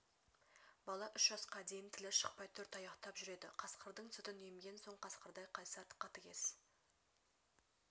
бала үш жасқа дейін тілі шықпай төрт аяқтап жүреді қасқырдың сүтін емген соң қасқырдай қайсар қатыгез